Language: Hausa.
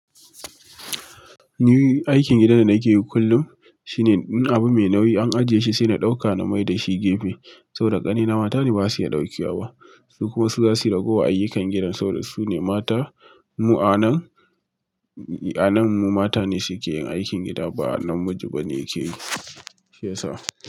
Ni aikin gidan da nake yi kullum shine in abu mai nauyi an ajiye shi sai na ɗauka na mai da shi gefe, saboda ƙanina mata ne ba su iya ɗauke wa. Su kuma za su ragowar ayyukan gida saboda su ne mata. Mu a nan, a nan mu mata ne su ke yin aikin gida ba namiji ba ne yake yi. Shiya sa.